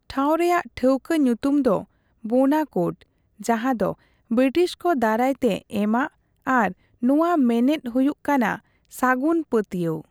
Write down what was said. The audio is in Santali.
ᱴᱷᱟᱣ ᱨᱮᱭᱟᱜ ᱴᱷᱟᱹᱣᱠᱟᱹ ᱧᱩᱛᱩᱢ ᱫᱚ ᱵᱳᱱᱟᱠᱳᱨᱰ ᱡᱟᱦᱟᱸᱫᱚ ᱵᱨᱤᱴᱤᱥᱠᱚ ᱫᱟᱨᱟᱭᱛᱮ ᱮᱢᱟᱜ ᱟᱨ ᱱᱚᱣᱟ ᱢᱮᱱᱮᱫ ᱦᱩᱭᱩᱜ ᱠᱟᱱᱟ ᱥᱟᱹᱜᱩᱱ ᱯᱟᱹᱛᱭᱟᱹᱣ ᱾